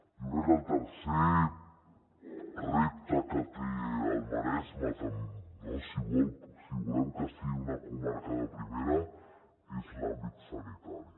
jo crec que el tercer repte que té el maresme si volem que sigui una comarca de primera és l’àmbit sanitari